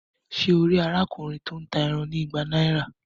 Ṣe e rí arákùnrin to n tá ẹran ní ìgbà náírà?